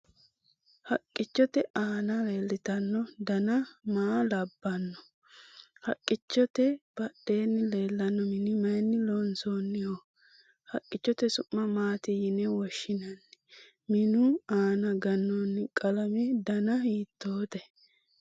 Haqqichote aana leeltanno dana maa labbanno? Haqqichote badheenni leellanno mini mayni loonsoonniho? Haqqichote su'ma maati yine woshshinanni? Minu aana gannoonni qalame dana hittoote?